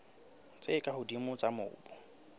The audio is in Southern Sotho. tse ka hodimo tsa mobu